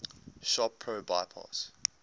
shop pro bypass